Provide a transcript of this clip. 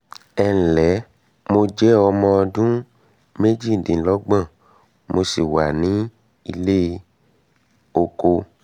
ẹǹlẹ́ mo jẹ́ ọmọ mo jẹ́ ọmọ ọdún méjìdínlọ́gbọ̀n mo sì wà nílé ọkọ